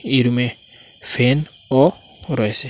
এই রুমে ফ্যানও রয়েসে ।